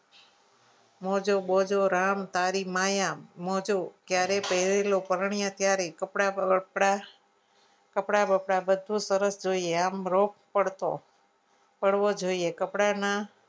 મોજો બોજો રામ સારી માય મોજો ક્યારેક પહેર્યો પરણીયા ત્યારે કપડાં બપડા કપડા બધું સરસ જોઈએ આમ રોજ રોપ પડતો પડવો જોઈએ કપડામાં